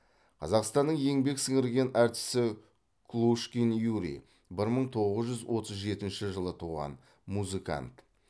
қазақстанның еңбек сіңірген артисі клушкин юрий бір мың тоғыз жүз отыз жетінші жылы туған музыкант